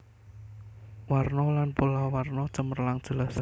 Warna lan pola warna cemerlang jelas